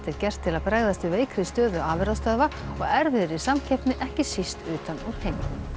gert til að bregðast við veikri stöðu afurðastöðva og erfiðri samkeppni ekki síst utan úr heimi